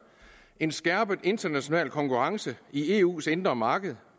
en skærpet international konkurrence i eus indre marked